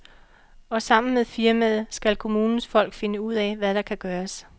Og sammen med firmaet skal kommunens folk finde ud af, hvad der kan gøres.